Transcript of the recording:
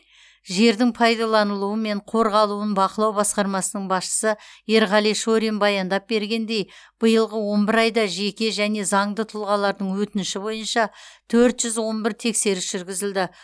жердің пайдаланылуы мен қорғалуын бақылау басқармасының басшысы ерғали шорин баяндап бергендей биылғы он бір айда жеке және заңды тұлғалардың өтініші бойынша төрт жүз он бір тексеріс жүргізілді